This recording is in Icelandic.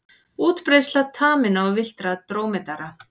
Útbreiðsla taminna og villtra drómedara.